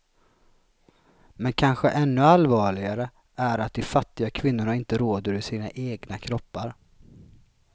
Men kanske ännu allvarligare är att de fattiga kvinnorna inte råder över sina egna kroppar.